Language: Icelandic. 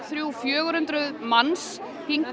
þrjú fjögur hundruð manns